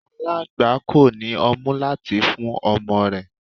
Aláńgbá kò ní ọmú láti fún ọmọ rẹ̀.